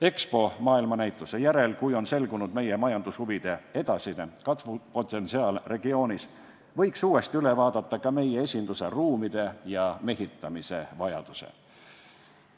EXPO maailmanäituse järel, kui on selgunud, milline on regioonis meie majandushuvide edasine kasvupotentsiaal, võiks uuesti üle vaadata ka meie esinduse ruumide ja mehitamise vajaduse.